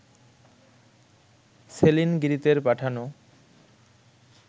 saline গিরিতের পাঠানো